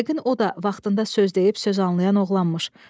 Yəqin o da vaxtında söz deyib söz anlayan oğlanmış.